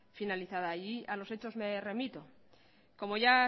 finalizada a los hechos me remito como ya